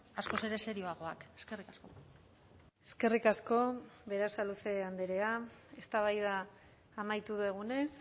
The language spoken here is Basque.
askoz ere serioagoak eskerrik asko eskerrik asko berasaluze andrea eztabaida amaitu dugunez